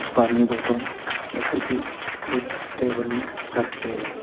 पानी बोतल ये सब भी वो टेबल में रखे है।